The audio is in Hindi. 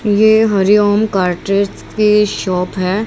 ये हरिओम कार्ट्रेस की शॉप है।